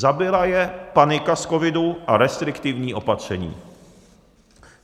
Zabila je panika z covidu a restriktivní opatření.